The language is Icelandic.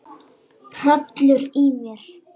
Hrollur í mér.